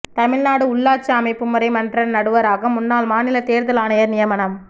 தமிழ்நாடு உள்ளாட்சி அமைப்பு முறை மன்ற நடுவராக முன்னாள் மாநில தேர்தல் ஆணையர் நியமனம்